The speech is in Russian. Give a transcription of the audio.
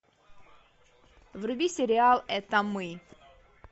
вруби сериал это мы